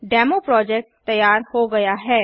demo project तैयार हो गया है